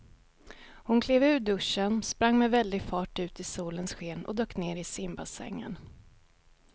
Hon klev ur duschen, sprang med väldig fart ut i solens sken och dök ner i simbassängen.